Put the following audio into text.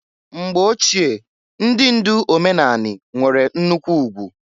Mgbo ochie ndị ndụ omenanị nwere nnụkwụ ugwu.